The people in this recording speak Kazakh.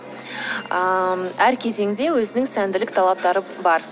ыыы әр кезеңде өзінің сәнділік талаптары бар